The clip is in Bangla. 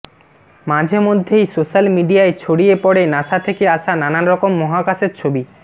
মাঝে মধ্যেই সোশ্যাল মিডিয়ায় ছড়িয়ে পড়ে নাসা থেকে আসা নানারকম মহাকাশের ছবি